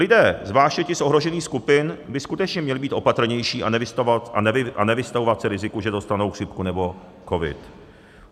Lidé zvláště z těch ohrožených skupin by skutečně měli být opatrnější a nevystavovat se riziku, že dostanou chřipku nebo covid.